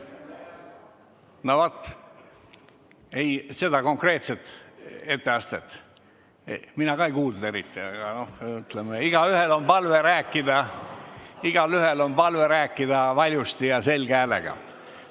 No vaat seda konkreetset etteastet mina ka eriti ei kuulnud, nii et mul on igaühele palve rääkida valjusti ja selge häälega.